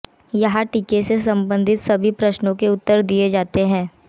यहां टीके से संबंधित सभी प्रश्नों के उत्तर दिए गए हैं